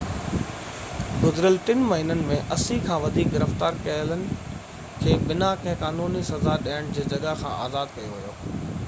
گذريل 3 مهينن ۾ 80 کان وڌيڪ گرفتار ڪيلن کي بنا ڪنهن قانوني سزا ڏيڻ جي جڳهه کان آزاد ڪيو ويو